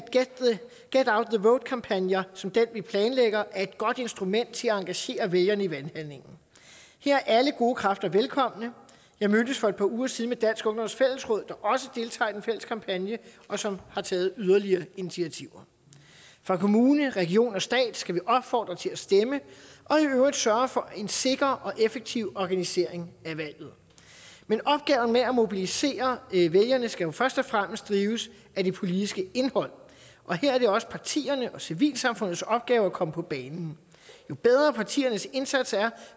get out the vote kampagner som den vi planlægger er et godt instrument til at engagere vælgerne i valghandlingen her er alle gode kræfter velkomne jeg mødtes for et par uger siden med dansk ungdoms fællesråd der også deltager i den fælles kampagne og som har taget yderligere initiativer fra kommune region og stat skal vi opfordre til at stemme og i øvrigt sørge for en sikker og effektiv organisering af valget men opgaven med at mobilisere vælgerne skal jo først og fremmest drives af det politiske indhold og her er det også partiernes og civilsamfundets opgave at komme på banen jo bedre partiernes indsats er